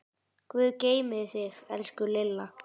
Guð geymi þig, elsku Lilla.